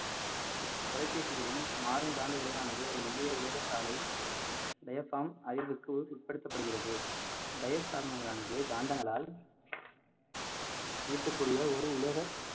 தொலைபேசிகளிலும் மாறும் காந்த விளைவானது ஒரு மெல்லிய உலக சாலை அறிவிற்கு உட்படுத்தப்படுகிறது diet சருமங்களானது காந்தங்களால் ஈர்க்கக்க்கூடிய ஒரு உலக